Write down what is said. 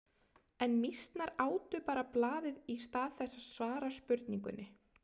En mýsnar átu bara blaðið í stað þess að svara spurningunni.